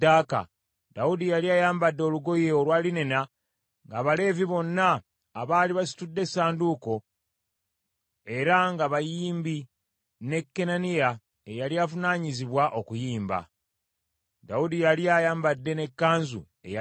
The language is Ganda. Dawudi yali ayambadde olugoye olwa linena, ng’Abaleevi bonna abaali basitudde essanduuko, era ng’abayimbi ne Kenaniya eyali avunaanyizibwa okuyimba. Dawudi yali ayambadde n’ekkanzu eya linena.